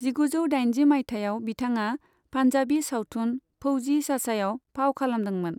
जिगुजौ दाइनजि माइथायाव बिथाङा पान्जाबि सावथुन फौजी चाचायाव फाव खालामदोंमोन।